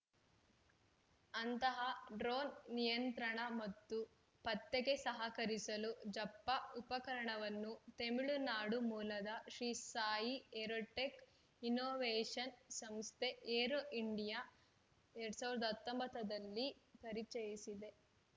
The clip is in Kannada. ಅಂತಹ ಡ್ರೋನ್‌ ನಿಯಂತ್ರಣ ಮತ್ತು ಪತ್ತೆಗೆ ಸಹಕರಿಸಲು ಝಪ್ಪ ಉಪಕರಣವನ್ನು ತಮಿಳುನಾಡು ಮೂಲದ ಶ್ರೀ ಸಾಯಿ ಏರೋಟೆಕ್‌ ಇನ್ನೋವೇಷನ್ಸ್‌ ಸಂಸ್ಥೆ ಏರೋ ಇಂಡಿಯಾ ಎರಡ್ ಸಾವಿರದ ಹತ್ತೊಂಬತ್ತ ದಲ್ಲಿ ಪರಿಚಯಿಸಿದೆ